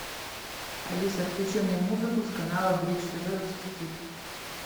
алиса включи мне музыку с канала бридж тв русский хит